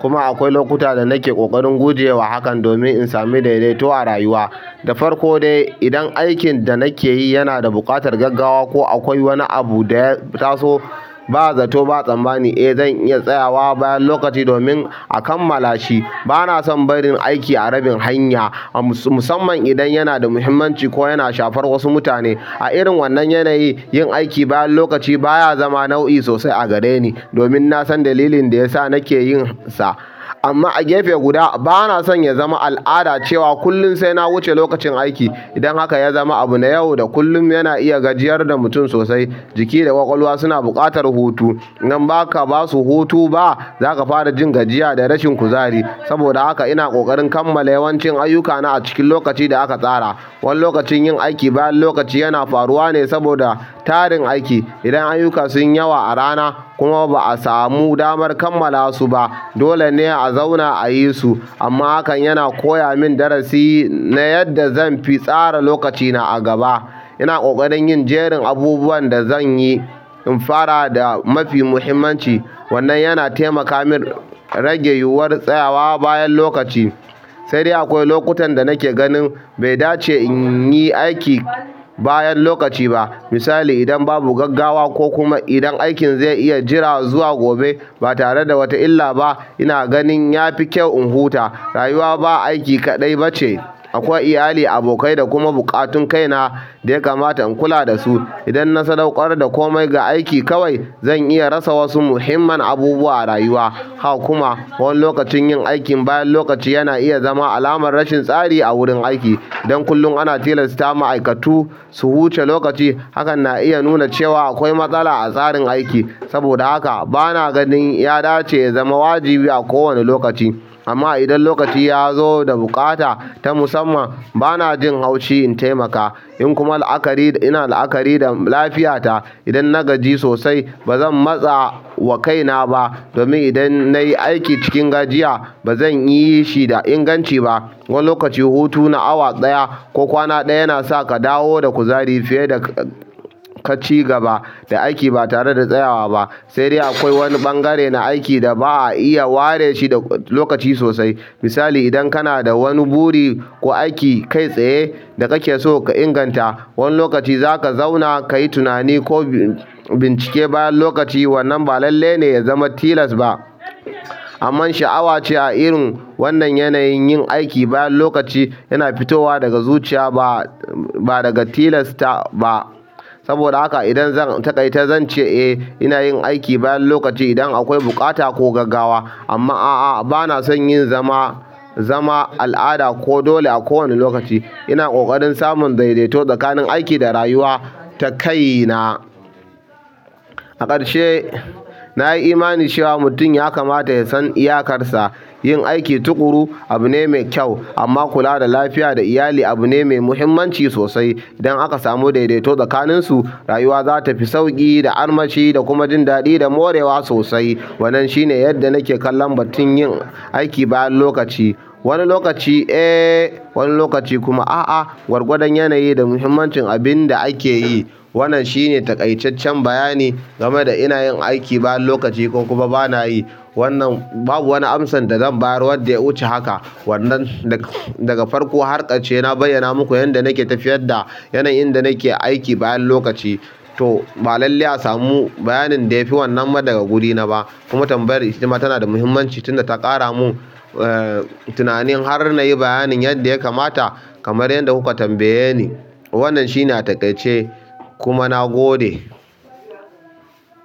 Kuma akwai lokuta da nake ƙoƙarin gujewa hakan domin in sami daidaito a rayuwa. Da farko dai idan aikin da nake yi yana da buƙatar gaggawa ko akwai wani abu da ya taso ba zato ba tsammani, eh zan iya tsayawa bayan lokaci domin a kammala shi. Ba na son barin aiki a rabin hanya musamman idan yana da muhimmanci ko yana shafar wasu mutane. A irin wannan yanayi yin aiki bayan lokaci baya zama nau'i sosai a gareni domin na san dalilin da ya sa nake yin sa. Amma a gefe guda ba na son ya zama al'ada cewa kullum sai na wuce lokacin aiki. Idan haka ya zama abu na yau da kullum yana iya gajiyar da mutum sosai. Jiki da ƙwaƙwalwa suna buƙatar hutu. In baka basu hutu ba za ka fara jin gajiya da rashin kuzari. Saboda haka ina ƙoƙarin kammala yawancin ayyukana a cikin lokaci da aka tsara. Wani lokacin yin aiki bayan lokaci yana faruwa ne saboda tarin aiki. Idan ayyuka sunyi yawa a rana kuma ba a samu damar kammala su ba dole ne a zauna a yi su. Amma hakan yana koya min darasi na yadda zan fi tsara lokacina a gaba. Ina ƙoƙarin yin jerin abubuwan da zan yi in fara da mafi muhimmanci. Wannan yana taimaka min rage yiwuwar tsayawa bayan lokaci. Sai dai akwai lokutan da nake ganin bai dace in yi aiki bayan lokaci ba. Misali idan babu gaggawa ko kuma idan aikin zai iya jira zuwa gobe ba tare da wata illa ba ina ganin ya fi kyau in huta. Rayuwa ba aiki kaɗai ba ce. Akwai iyali, abokai da kuma buƙatun kaina da ya kamata na kula dasu idan na sadaukar da komai ga aiki kawai zan iya rasa wasu muhimman abubuwa a rayuwa. Haka kuma wani lokacin yin aikin bayan lokaci yana iya zama alamar rashin tsari a wurin aiki. Idan kullum ana tilasta ma'aikatu su wuce lokaci hakan na iya nuna cewa akwai matsala a tsarin aiki saboda haka ba na ganin ya dace ya zama wajibi a kowane lokaci. Amma idan lokaci ya zo da buƙata ta musamman ba na jin haushi in taimaka. In kuma la'akari ina la'akari da lafiyata idan na gaji sosai ba zan matsa wa kaina ba. Domin idan nayi aiki cikin gajiya ba zan yi shi da inganci ba. Wani lokaci hutu na awa ɗaya ko kwana ɗaya yana sa ka dawo da kuzari fiye da ka cigaba da aiki ba tare da tsayawa ba. Saidai akwai wani ɓangare na aiki da ba a iya ware shi da lokaci sosai. Misali idan kana da wani buri ko aiki kai tsaye da kake so ka inganta wani lokaci za ka zauna ka yi tunani ko bincike bayan lokaci wannan ba lallai ne ya zama tilas ba. Amman sha'awa ce a irin wannan yanayin yin aiki bayan lokaci yana fitowa daga zuciya ba, ba daga tilasta ba. Saboda haka idan zan taƙaita zan ce eh ina yin aiki bayan lokaci idan akwai buƙata ko gaggawa. Amma a'a, ba na son yin zama, zama al'ada ko dole a kowane lokaci. Ina ƙoƙarin samun daidaito tsakanin aiki da rayuwa ta kaina. A ƙarshe nayi imani cewa mutum ya kamata ya san iyakarsa. Yin aiki tuƙuru abu ne mai kyau amma kula da lafiya da iyali abu ne mai muhimmanci sosai. Idan aka samu daidaito tsakaninsu rayuwa za ta fi sauƙi da armashi da kuma jin daɗi da morewa sosai. Wannan shine yadda nake kallon batun yin aiki bayan lokaci. Wani lokaci eh wani lokaci kuma a'a. Gwargwadon yanayi da muhimmancin abinda ake yi. Wannan shine taƙaitaccen bayani game da ina yin aiki bayan lokaci ko kuma ba na yi. Wannan babu wani amsan da zan bayar wadda ya wuce haka. Wannan daga farko har ƙarshe na bayyana muku yadda nake tafiyar da yanayin da nake aiki bayan lokaci. To ba lallai a samu bayanin da ya fi wannan ba daga wurina ba. Kuma tambayar itama tana da muhimmanci tun da ta ƙara mun, eh, tunanin har na yi bayanin yadda ya kamata kamar yadda kuka tambayenii. Wannan shi ne a taƙaice kuma na gode.